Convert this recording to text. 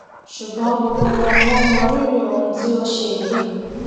ṣùgbọn gbogbo wọn ni wọn mọ rírì ohun tí òun ṣe yìí